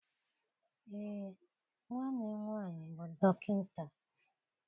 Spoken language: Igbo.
Ee, nwanne m nwaanyị bụ dọkịta.